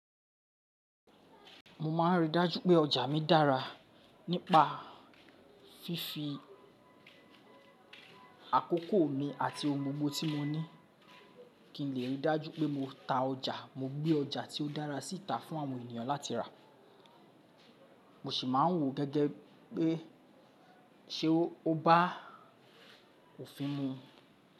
Mo ma ń rí i dájú pé ọjà mi dára nípa fífi àkókò mi àti ọun gbogbo tí mo ní kí n lè rí i dájú pé mo ta ọjà, mo gbé ọjà tí ó dára síta fún àwọn ènìyàn láti rà. Mo sì máa ń wò gẹ́gẹ́ pé ṣe ó bá òfin mu.